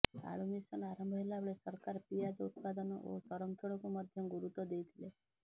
ଆଳୁ ମିଶନ ଆରମ୍ଭ ହେଲା ବେଳେ ସରକାର ପିଆଜ ଉତ୍ପାଦନ ଓ ସଂରକ୍ଷଣକୁ ମଧ୍ୟ ଗୁରୁତ୍ୱ ଦେଇଥିଲେ